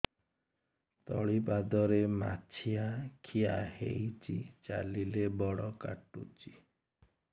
ତଳିପାଦରେ ମାଛିଆ ଖିଆ ହେଇଚି ଚାଲିଲେ ବଡ଼ କାଟୁଚି